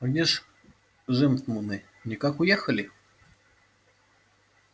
а где ж жентмуны никак уехали